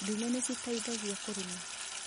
Ndume nĩ citaithagia kũrĩma